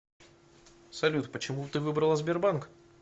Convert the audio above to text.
салют почему ты выбрала сбербанк